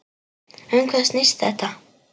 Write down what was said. Um hvað snýst þetta?